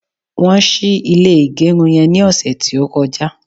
won sì ilé igerun yen ni ọsẹ ti o koja